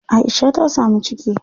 Aisha ta samu ciki.